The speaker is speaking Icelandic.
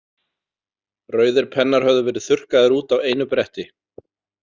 Rauðir Pennar höfðu verið þurrkaðir út á einu bretti.